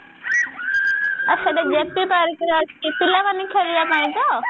ଓ ସେଟା JP park ରେ ଅଛି ପିଲାମାନେ ଖେଳିବା ପାଇଁ ତ